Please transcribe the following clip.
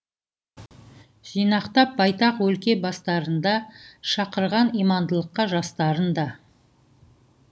жинақтап байтақ өлке бастарында шақырған имандылыққа жастарын да